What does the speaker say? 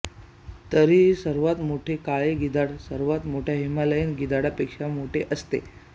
तरीही सर्वात मोठे काळे गिधाड सर्वात मोठ्या हिमालयीन गिधाडापेक्षा मोठे असते